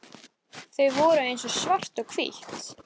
Þau voru eins og svart og hvítt.